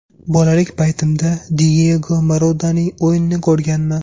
Bolalik paytimda Diyego Maradonaning o‘yinini ko‘rganman.